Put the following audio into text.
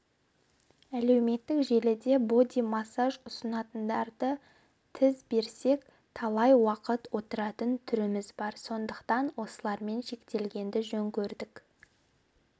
әлеуметтік желіде боди-массаж ұсынатындарды тіз берсек талай уақыт отыратын түріміз бар сондықтан осылармен шектелгенді жөн көрдік